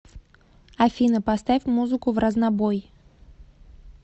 афина поставь музыку вразнобой